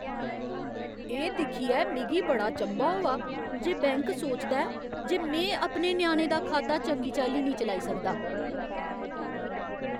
एह् दिक्खियै मिगी बड़ा चंभा होआ जे बैंक सोचदा ऐ जे में अपने ञ्याणे दा खाता चंगी चाल्ली निं चलाई सकदा।